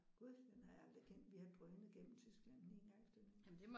Gud den har jeg aldrig kendt vi har drønet gennem Tyskland den ene gang efter den anden